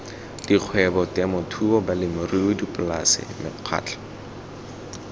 dikgwebo temothuo balemirui dipolase mekgatlho